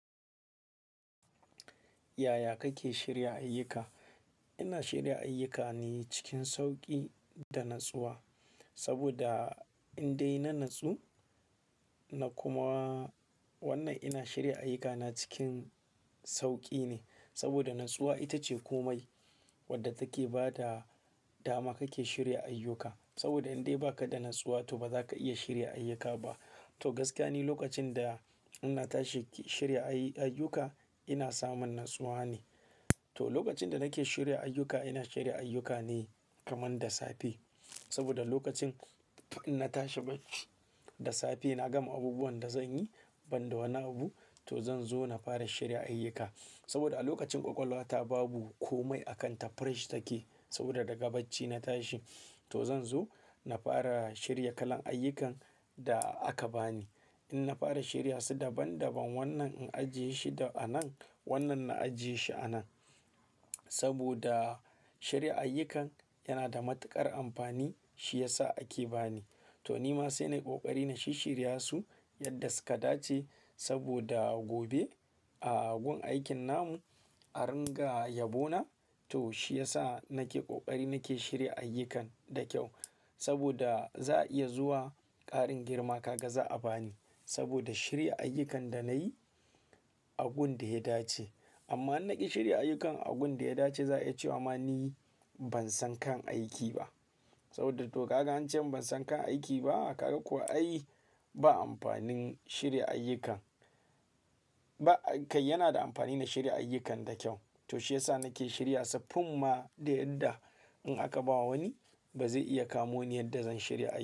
Yaya kake shirya ayyuka? Ina shirya ayyukane cikin sauƙi da natsuwa. Saboda in dai na natsu na kuma wannan ina shirya ayyukana cikin sauƙi ne. Saboda natsuwa ita ce komai wadda take ba da dama kake shirya ayyuka. Saboda in dai ba ka da natsuwa, to ba za ka iya shirya ayyuka ba. To gaska ni lokacin da ina tashi shirya ayi-ayyuka, ina samun natsuwa ne. To lokacin da nake shirya ayyuka, ina shirya ayyukane kaman da safe. Saboda lokacin inna tashi bacci da safe, na gama abubuwan da zan yi banda wani abu, to zan zo na fara shirya ayyuka. Saboda a lokacin ƙwaƙwalwa ta babu komai a kanta fresh take. Saboda daga bacci na tashi, to zan zo na fara shirya kalan ayyukan da aka ba ni. In na fara shirya su daban daban, wannan in ajiye shi da a nan, wannan na ajiye shi a nan. Saboda shirya ayyukan yana da matuƙar amfani, shi ya sa ake ba ni. To nima sai nayi ƙoƙari na shishshirya su yadda suka dace. Saboda gobe a gun aikin namu a ringa yabo na, to shi ya sa nake ƙoƙari nake shirya ayyukan da kyau. Saboda za a iya zuwa ƙarin girma kaga za a ba ni. Saboda shirya ayyukan da nayi a gun da ya dace. Amma in naƙe shirya ayyukan a gun da ya dace, za a iya cewa ma ni ban san kan aiki ba. Saboda to kaga an ce ban san kan aiki ba, kaga kuwa ai ba amfanin shirya ayyukan. Ba kai yana da amfani na shirya ayyukan da kyau. To shi ya sa nake shirya su, funma da yadda in aka ba wani ba zai iya kamo ni yadda zan shirya.